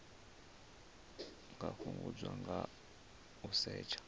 nga fhungudzwa nga u setsha